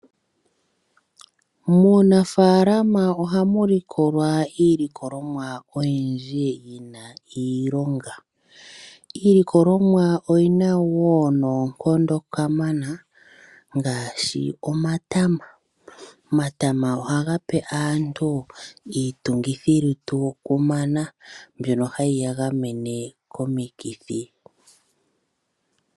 Muunafaalqma ohamu likolwa iilikolomwa oyindji yina oshilonga. Iilikolomwa oyina wo noonkondo kamana ngaashi omatama ngoka haga pe aantu iitungithililutu kumana mbyono hai ya gamene komikithi.